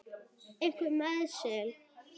Einhver meiðsli?